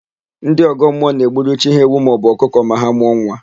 Ndị ọgọmmụọ na-egburu chi ha ewu maọbụ ọkụkọ ma ha mụọ nwa.